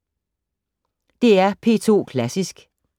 DR P2 Klassisk